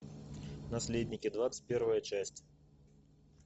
наследники двадцать первая часть